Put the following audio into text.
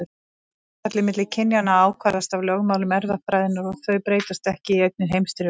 Hlutfallið milli kynjanna ákvarðast af lögmálum erfðafræðinnar og þau breytast ekki í einni heimstyrjöld.